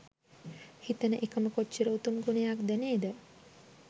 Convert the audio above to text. හිතන එකම කොච්චර උතුම් ගුණයක්ද නේද?